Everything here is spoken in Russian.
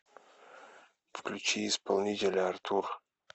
включи исполнителя артур